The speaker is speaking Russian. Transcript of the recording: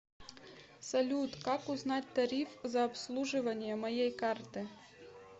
салют как узнать тариф за обслуживание моей карты